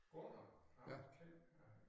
Gunnar ham kender